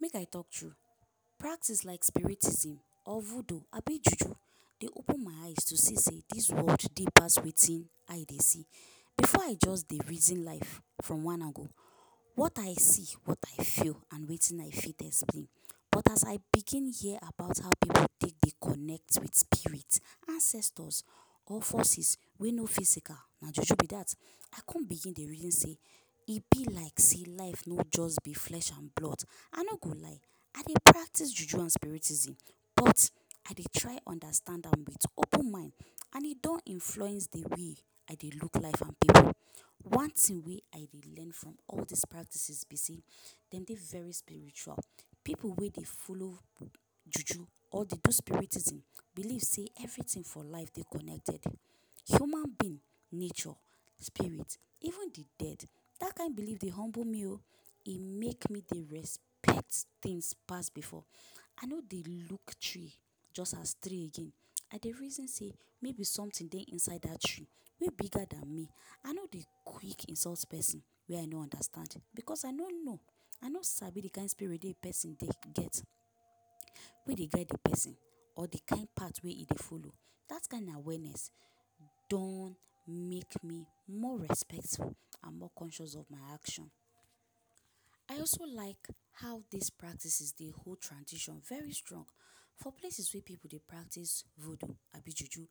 Make I talk true, practice like spiritism or voodoo abi juju dey open my eyes to see sey dis world dey pass wetin eye dey see. Before I just dey reason life from one angle - what I see, what I feel and wetin I fit explain’, but as I begin hear about how pipu take dey connect with spirit, ancestors or forces wey no physical - na juju be that, I come begin dey reason sey e be like sey life no just be flesh and blood. I no go lie, I dey practice juju and spiritism. But, I dey try understand am with open mind and e don influence the way I dey look life and pipu. One thing wey I dey learn from all dis practices be sey dem dey very spiritual. Pipu wey dey follow juju or dey do spiritism believe sey everything for life dey connected – human being, nature, spirit, even the dead. That kind believe dey humble me o, e make me dey respect things pass before. I no dey look tree just as tree again. I dey reason sey maybe something dey inside that tree wey bigger than me. I no dey quick insult pesin wey I no understand. Because I no know, I no sabi the kind spirit pesin get, wey dey guide the pesin or the kind part wey e dey follow. That kind awareness don make me more respectful and more conscious of my action. I also like how dis practices dey hold tradition very strong. For places wey pipu dey practice voodoo abi juju,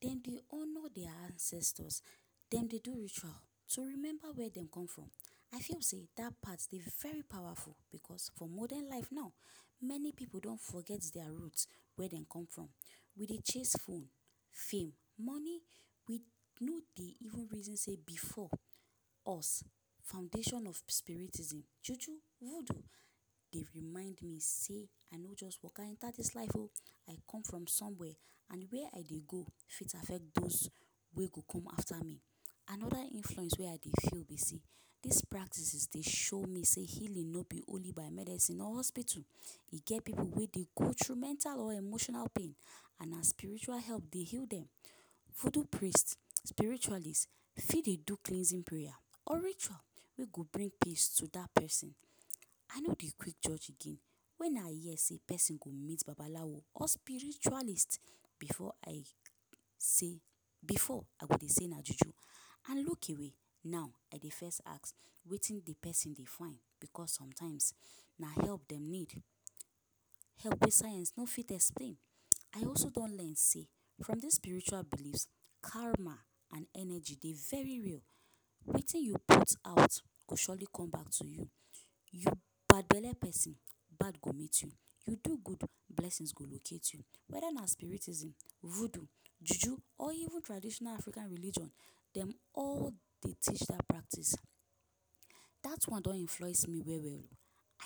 dem dey honour dia ancestors, dem dey do ritual to remember where dey come from. I feel sey that part dey very powerful because for modern life now, many pipu don forget dia root - where dem come from. We dey chase phone, fame, money maybe even reason sey before us foundation of spiritism, juju, voodoo dey remind me sey I no just waka enter dis lif o, I come from somewhere and where I dey go fit affect those wey go come after me. Another influence wey I dey feel be sey dis practices dey show me sey healing no be only by medicine or hospital. E get pipu wey dey go through mental or emotional pain and na spiritual help dey heal dem. Voodoo priest, spiritualist, fit dey do cleansing prayer or ritual wey go bring peace to that pesin. I no dey quick judge again. When I hear sey pesin go meet Babalawo or spiritualist, before I say before I go dey say na juju and look away. Now, I dey first ask, wetin the pesin dey find, because sometimes, na help dem need. Help wey science no fit explain. I also don learn sey from dis spiritual beliefs, karma and energy dey very real. Wetin you put out go surely come back to you. You bad-belle pesin, bad go meet you. You do good, blessings go locate you. Whether na spiritism, voodoo, juju or even traditional African religion, dem all dey teach that practice. That one don influence me well-well o.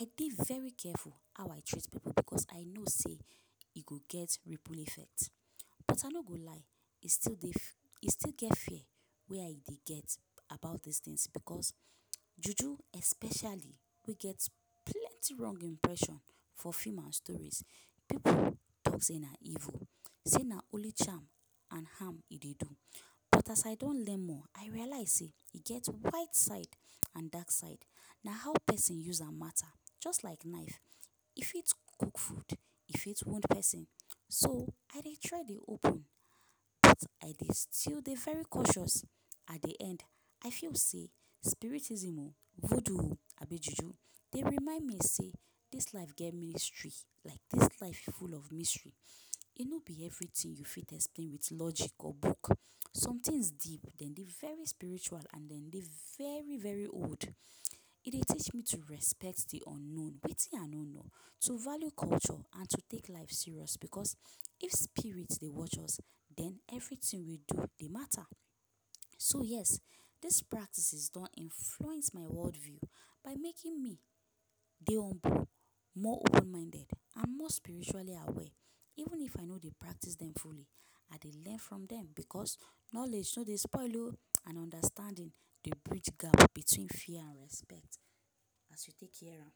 I dey very careful how I treat pipu because I know sey e go get ripple effect. But I no go lie, e still get e still get fear wey I dey get about dis things because, juju especially, wey get plenty wrong impression for film and stories, pipu talk sey na evil, say na only charm and harm e dey do. But as I don learn more, I realize sey e get white side and dark side. Na how pesin use am mata. Just like knife, e fit cook food e fit wound pesin. So, I dey try dey open, but I dey still dey very cautious. At the end, I feel sey spiritism o, voodoo o abi juju dey remind me sey dis life get mystery. Like, dis life full of mystery. E no be everything you fit explain with logic or book. Some things deep. Dem dey very spiritual and dem dey very-very old. E dey teach me to respect the unknown - wetin I no know, to value culture and to take life serious because if spirit dey watch us, then everything we do dey mata. So, yes, dis practices don influence my world view by making me dey humble, more open-minded and more spiritually aware. Even if I no dey practice dem fully, I dey learn from dem because knowledge no dey spoil o and understanding dey bridge gap between fear and respect as you take hear am.